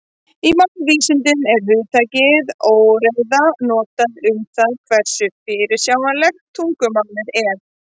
Í málvísindum er hugtakið óreiða notað um það hversu fyrirsjáanlegt tungumálið er.